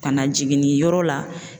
Ka na jiginniyɔrɔ la.